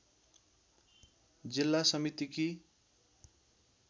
जिल्ला समितिकी